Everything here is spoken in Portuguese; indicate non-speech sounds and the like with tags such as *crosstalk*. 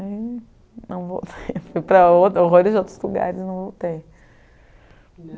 não vou, *laughs* fui para horrores de outros lugares e não voltei.